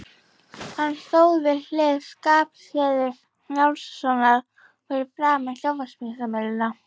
Hann stóð við hlið Skarphéðins Njálssonar fyrir framan sjónvarpsmyndavélar.